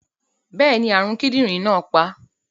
Bẹ́ẹ̀ni, àrùn kidinrin náà pa á.